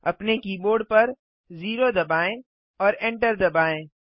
अपने कीबोर्ड पर 0 दबाएँ और एंटर दबाएँ